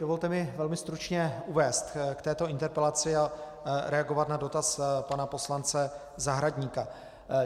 Dovolte mi velmi stručně uvést k této interpelaci a reagovat na dotaz pana poslance Zahradníka.